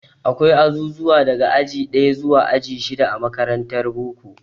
Akwai azuzuwa daga aji ɗaya zuwa aji shida a makarantar boko.